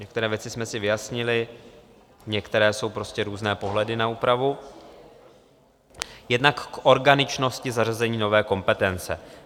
Některé věci jsme si vyjasnili, některé jsou prostě různé pohledy na úpravu, jednak k organičnosti zařazení nové kompetence.